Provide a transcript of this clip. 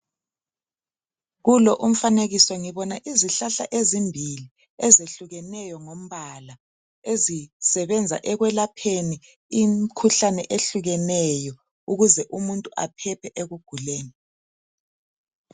Kulo umfanekiso ngibona izihlahla ezimbili ezehlukeneyo ngombala ezisebenza ekwelapheni imkhuhlane ehlukeneyo ukuze umuntu aphephe ekuguleni.